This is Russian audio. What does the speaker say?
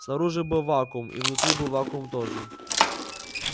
снаружи был вакуум и внутри был вакуум тоже